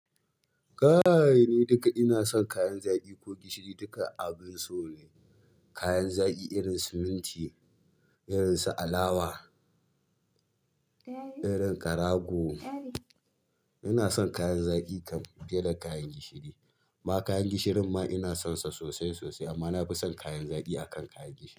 Kai ni duka ina son kayan zaƙi ko gishiri duka abin so ne. Kayan zaki irin su minti, irin su alawa, irin karago. Ina son kayan zaki kam fiye da kayan gishiri amma kayan gishirin ma ina son sa sosai sosai amma na fi son kayan zaki a kan kayan gishiri.